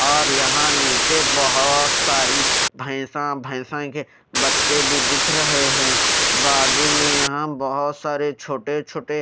और यहाँ नीचे बहुत सारी भैंसा भैंसा के बच्चे भी दिख रहे हैं बाजू में यहाँ बहुत सारे छोटे छोटे --